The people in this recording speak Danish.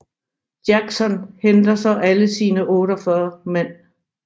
Jackson henter så alle sine 48 mand